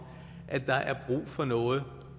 at der er brug for noget